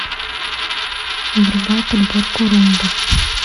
врубай подборку румба